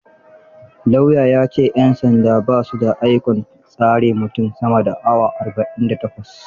Lauya ya ce; 'yan sandan ba su da ikon tsare mutum sama da Awa arba'in da takwas.